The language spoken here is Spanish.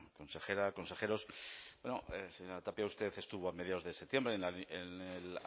consejera consejeros bueno señora tapia usted estuvo a mediados de septiembre en el